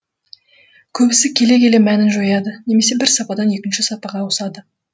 көбісі келе келе мәнін жояды немесе бір сападан екінші сапаға ауысады